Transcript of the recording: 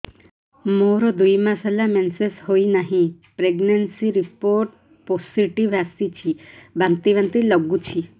ମୋର ଦୁଇ ମାସ ହେଲା ମେନ୍ସେସ ହୋଇନାହିଁ ପ୍ରେଗନେନସି ରିପୋର୍ଟ ପୋସିଟିଭ ଆସିଛି ବାନ୍ତି ବାନ୍ତି ଲଗୁଛି